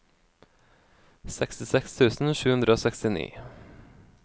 sekstiseks tusen sju hundre og sekstini